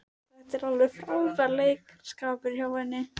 Þetta var alveg frábær leikaraskapur hjá henni.